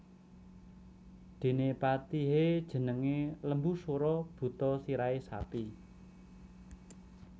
Dene patihe jenenge Lembusura buta sirahe sapi